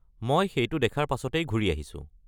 মই সেইটো দেখাৰ পাছতেই ঘূৰি আহিছোঁ।